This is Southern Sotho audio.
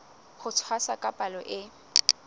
ho tshwasa ka palo e